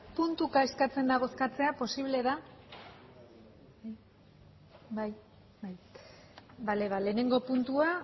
puntuka eskatzen da eskatzea posible da bai bale ba lehenengo puntua